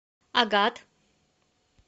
агат